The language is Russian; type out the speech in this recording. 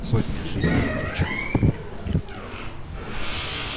сотня жизней ни в чем не повинных людей